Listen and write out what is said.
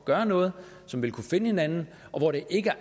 gøre noget som vil kunne finde hinanden og hvor det ikke